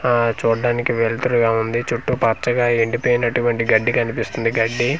ఆ చూడ్డానికి వెళ్తురుగా ఉంది చుట్టూ పచ్చగా ఎండి పోయినటువంటి గడ్డి కనిపిస్తుంది గడ్డి.